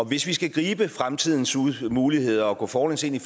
vi skal gribe fremtidens muligheder og gå forlæns ind